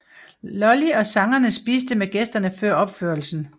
Lully og sangerne spiste med gæsterne før opførelsen